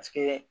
Paseke